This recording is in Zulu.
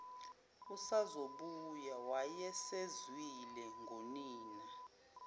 usazobuya wayesezwile ngonina